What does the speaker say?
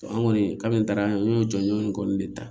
An kɔni ka min taara n y'o jɔjɔ in kɔni de ta